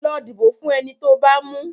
Lọ dìbò fún eni tó bá mú.